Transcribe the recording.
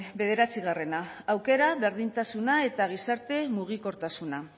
bederatzigarrena aukera berdintasuna eta gizarte mugikortasuna